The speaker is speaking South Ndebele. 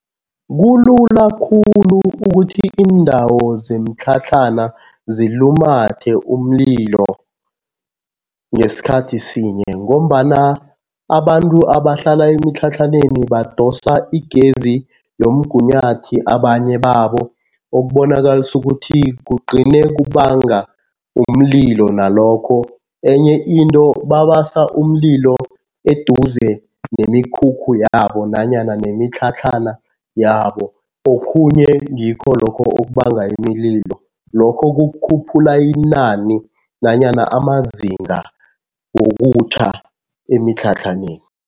Kulula khulu ukuthi iindawo zemitlhatlhana zilumathe umlilo ngesikhathi sinye ngombana abantu abahlala emitlhatlhaneni badosa igezi yomgunyathi abanye babo, okubonakalisa ukuthi kugcine kubanga umlilo nalokho. Enye into babasa umlilo eduze nemikhukhu yabo nanyana nemitlhatlhana yabo, okhunye ngikho lokho okubanga imililo. Lokho kukhuphula inani nanyana amazinga wokutjha emitlhatlhaneni.